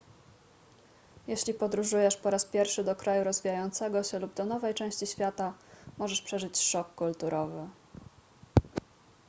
jeśli podróżujesz po raz pierwszy do kraju rozwijającego się lub do nowej części świata możesz przeżyć szok kulturowy